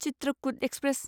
Chitrakoot express